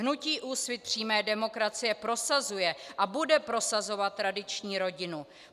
Hnutí Úsvit přímé demokracie prosazuje a bude prosazovat tradiční rodinu.